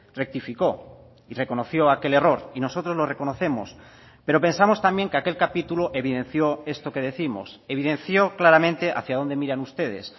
rectificó y reconoció aquel error y nosotros lo reconocemos pero pensamos también que aquel capítulo evidenció esto que décimos evidenció claramente hacia dónde miran ustedes